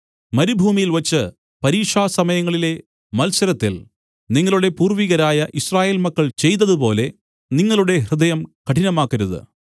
മരുഭൂമിയിൽവച്ച് പരീക്ഷാസമയങ്ങളിലെ മത്സരത്തിൽ നിങ്ങളുടെ പൂർവികരായ യിസ്രായേൽ മക്കൾ ചെയ്തതുപോലെ നിങ്ങളുടെ ഹൃദയം കഠിനമാക്കരുത്